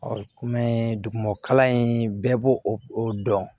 kɔmi dugumakalan in bɛɛ b'o o dɔn